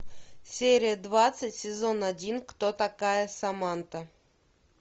серия двадцать сезон один кто такая саманта